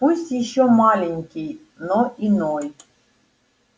пусть ещё маленький но иной